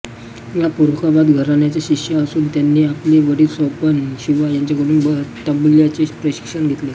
या फरुखाबाद घराण्याच्या शिष्या असून त्यांनी आपले वडील स्वपन शिवा यांच्याकडून तबल्याचे प्रशिक्षण घेतले